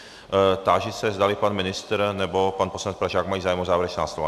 Táži se, zdali pan ministr nebo pan poslanec Pražák mají zájem o závěrečná slova.